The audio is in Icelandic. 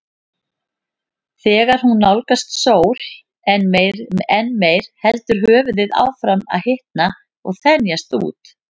Þegar hún nálgast sól enn meir heldur höfuðið áfram að hitna og þenjast út.